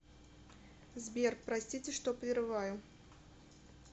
сбер простите что прерываю